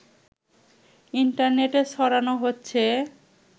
ইন্টারনেটে ছড়ানো হচ্ছে